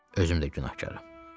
Özüm də günahkaram.